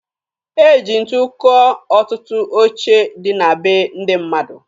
E ji ntu kụọ ọtụtụ oche dị na be ndị mmadụ